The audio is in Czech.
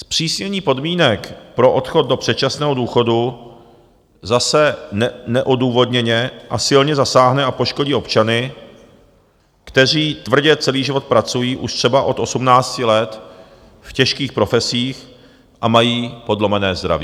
Zpřísnění podmínek pro odchod do předčasného důchodu zase neodůvodněně a silně zasáhne a poškodí občany, kteří tvrdě celý život pracují už třeba od 18 let v těžkých profesích a mají podlomené zdraví.